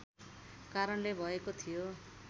कारणले भएको थियो